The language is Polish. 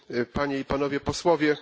Panie i Panowie posłowie!